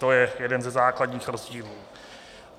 To je jeden ze základních rozdílů.